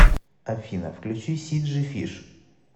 афина включи си джи фиш